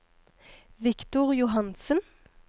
Victor Johansen